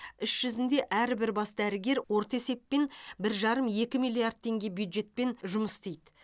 іс жүзінде әрбір бас дәрігер орташа есеппен бір жарым екі миллиард теңге бюджетпен жұмыс істейді